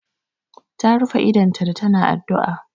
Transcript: Ta rufe idonta da ta na addu'a